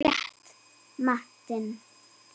Rétta matinn.